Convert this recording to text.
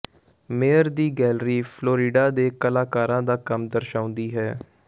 mayor ਦੀ gallery Florida ਦੇ ਕਲਾਕਾਰਾਂ ਦਾ ਕੰਮ ਦਰਸਾਉਂਦੀ ਹੈ